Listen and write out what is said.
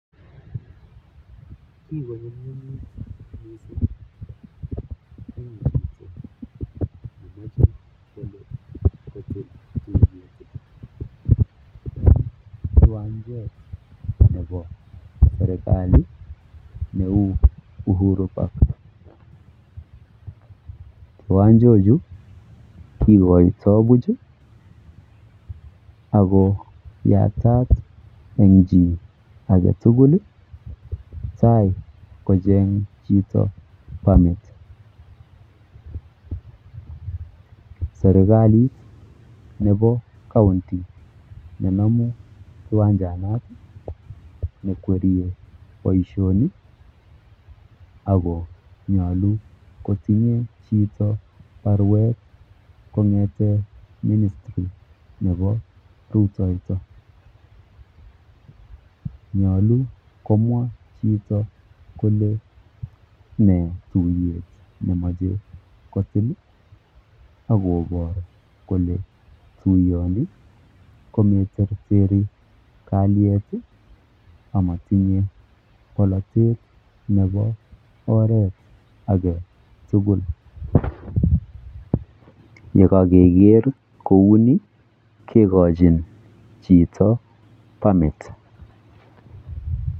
Kikoyumnyumit mising eng chito nemeche koyai tuiyet eng Uhuru park. Serikalit nepo county nekwerie boishoni akonytolu kotinye chito tuiyet . Yekakeker kouni kekochin chito permit